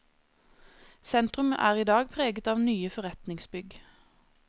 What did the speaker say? Sentrum er i dag preget av nye forretningsbygg.